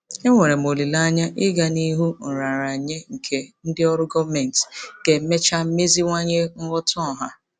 Enwere m olileanya ịga n'ihu nraranye nke ndị ọrụ gọọmentị ga-emecha meziwanye nghọta ọha.